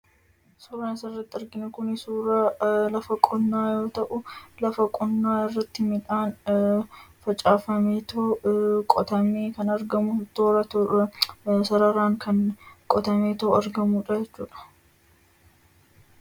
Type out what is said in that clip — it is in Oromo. Suuraan asirratti argaa jirru kun suuraa lafa qonnaa yoo ta'u, lafa qonnaa kana irratti midhaan facaafamee, toora tooraan kan argamudha.